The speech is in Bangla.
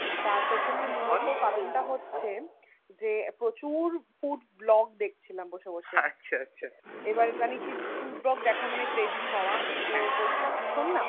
তার পেছনে মূলত কারণ তা হচ্ছে যে প্রচুর food Vlog দেখছিলাম বসে বসে এবার জানিসই Food Vlog দেখা মানেই Craving হওয়া তো বলছিলাম শোন না